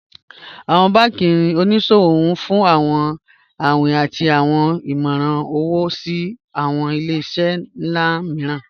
Awọn banki oníṣòwò n fún awọn awìn àti awọn ìmọ̀ran owo sí awọn ilẹ̀-iṣẹ̀ nlá mììràn